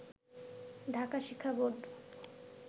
ঢাকা শিক্ষা বোর্ড